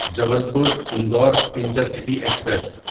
Jabalpur Indore intercity express